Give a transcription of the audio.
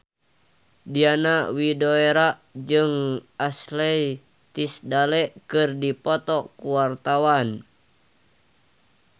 Diana Widoera jeung Ashley Tisdale keur dipoto ku wartawan